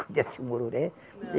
Conhece o mururé? Não